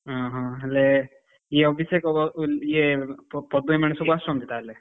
ହୁଁ ହୁଁ, ହେଲେ ଇଏ ଅଭିଷେକ ଇଏ ପ ପଦିଆ ମାନେ ଏସବୁ ଆସୁଛନ୍ତି ତାହେଲେ?